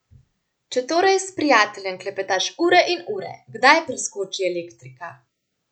Če torej s prijateljem klepetaš ure in ure, kdaj preskoči elektrika?